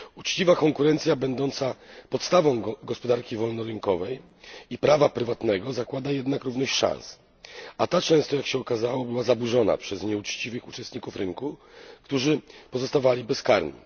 Uczciwa konkurencja będąca podstawą gospodarki wolnorynkowej i prawa prywatnego zakłada jednak równość szans, a ta często jak się okazało była zaburzona przez nieuczciwych uczestników rynku, którzy pozostawali bezkarni.